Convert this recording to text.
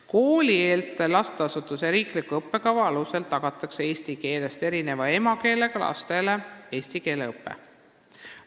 Koolieelse lasteasutuse riikliku õppekava alusel tagatakse eesti keelest erineva emakeelega lastele eesti keele õpe.